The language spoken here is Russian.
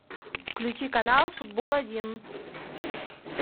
включи канал футбол один